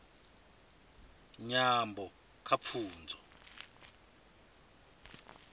nyambo kha pfunzo